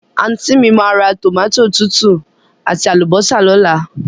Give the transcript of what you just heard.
Àntí mi máa ra tòmátò tútù àti àlùbọ́sà lóla